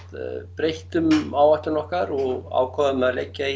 breyttum áætlun okkar og ákváðum að leggja